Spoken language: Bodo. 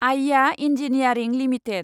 आइआ इन्जिनियारिं लिमिटेड